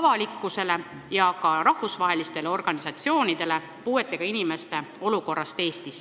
avalikkusele ja ka rahvusvahelistele organisatsioonidele informatsiooni puuetega inimeste olukorrast Eestis.